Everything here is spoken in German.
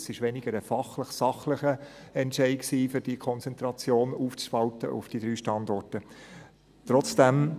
Es war weniger ein fachlicher, sachlicher Entscheid, die Konzentration auf diese drei Standorte aufzuspalten.